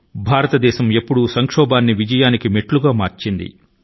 భారతదేశం ఎప్పుడూ కష్టాలను విజయాని కి మెట్టు గా మార్చుకొంది